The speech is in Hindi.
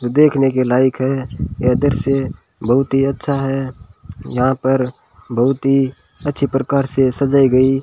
देखने के लायक है यह दृश्य बहुत ही अच्छा है यहां पर बहुत ही अच्छी प्रकार से सजाई गई।